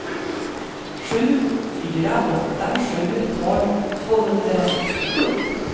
sju fyra åtta sju tolv tvåhundrasextiosju